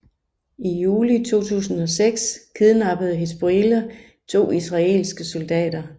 I juli 2006 kidnappede Hizbollah to israelske soldater